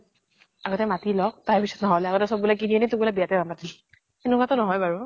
আগতে মাতি লক, তাৰ পিছত। নহলে আগতে চব বুলে কিনি আনি তোক বুলে বিয়াতে নামাতিল। সেনেকুৱাতো ন্হয় বাৰু।